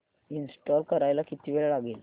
install करायला किती वेळ लागेल